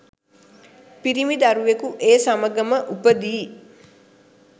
පිරිමි දරුවෙකු ඒ සමඟම උපදියි.